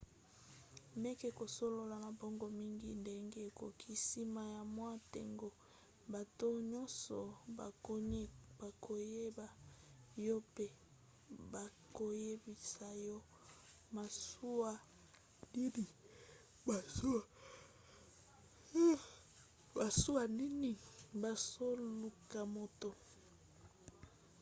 meka kosolola na bango mingi ndenge okoki. nsima ya mwa ntango bato nyonso bakoyeba yo mpe bakoyebisa yo masuwa nini bazoluka moto